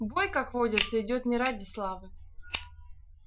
бой как водится идёт не ради славы